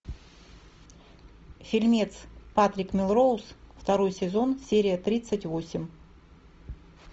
фильмец патрик мелроуз второй сезон серия тридцать восемь